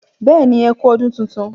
béèni ẹkú ọdún títún